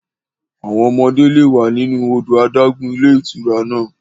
Àwọn ọmọdé lè wẹ̀ nínú odò adágún ilé ìtura náà.